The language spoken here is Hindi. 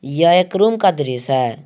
यह एक रूम का दृश्य है।